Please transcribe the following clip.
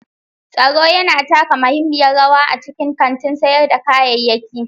Tsaro yana taka muhimmiyar rawa a cikin kantin sayar da kayayyaki.